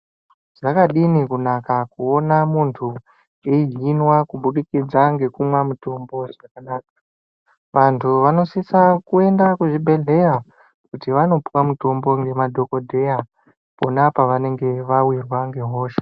Zvakadini kunaka kuona muntu eihinwa kubudikidza ngekumwa mutombo zvakanaka vantu vanosisa kuenda kuzvibhedhleya kuti vanopiwa mutombo ngemadhokodheya pona pavanenge vawirwa ngehosha.